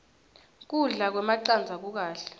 kudla kwemacandza kukahle